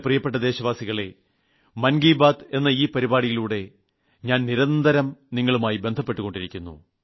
പ്രീയപ്പെട്ട എന്റെ ദേശവാസികളെ മൻ കി ബാത്ത് എന്ന ഈ പരിപാടിയിലൂടെ ഞാൻ നിരന്തരം നിങ്ങളുമായി ബന്ധപ്പെട്ടു കൊണ്ടിരിക്കുന്നു